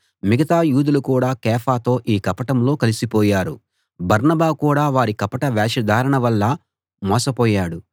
మిగతా యూదులు కూడా కేఫాతో ఈ కపటంలో కలిసిపోయారు బర్నబా కూడా వారి కపట వేషధారణ వల్ల మోసపోయాడు